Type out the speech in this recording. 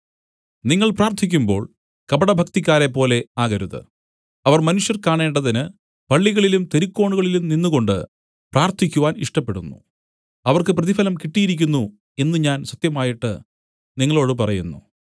നിങ്ങൾ പ്രാർത്ഥിക്കുമ്പോൾ കപടഭക്തിക്കാരെപ്പോലെ ആകരുത് അവർ മനുഷ്യർ കാണേണ്ടതിന് പള്ളികളിലും തെരുക്കോണുകളിലും നിന്നുകൊണ്ടു പ്രാർത്ഥിക്കുവാൻ ഇഷ്ടപ്പെടുന്നു അവർക്ക് പ്രതിഫലം കിട്ടിയിരിക്കുന്നു എന്നു ഞാൻ സത്യമായിട്ട് നിങ്ങളോടു പറയുന്നു